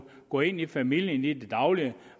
gå ind i familien i det daglige og